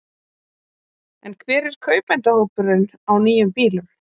En hver er kaupendahópurinn á nýjum bílum?